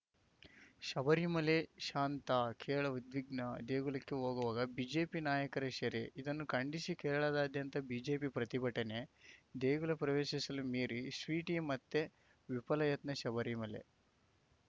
ಶಬರಿಮಲೆ ಶಾಂತ ಕೇರಳ ಉದ್ವಿಗ್ನ ದೇಗುಲಕ್ಕೆ ಹೋಗುವಾಗ ಬಿಜೆಪಿ ನಾಯಕ ಸೆರೆ ಇದನ್ನು ಖಂಡಿಸಿ ಕೇರಳದಾದ್ಯಂತ ಬಿಜೆಪಿ ಪ್ರತಿಭಟನೆ ದೇಗುಲ ಪ್ರವೇಶಿಸಲು ಮೇರಿ ಸ್ವೀಟಿ ಮತ್ತೆ ವಿಫಲ ಯತ್ನ ಶಬರಿಮಲೆ